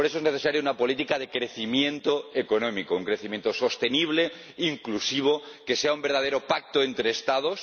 Por eso es necesaria una política de crecimiento económico, un crecimiento sostenible, inclusivo, que sea un verdadero pacto entre Estados